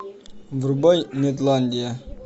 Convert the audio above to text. врубай нетландия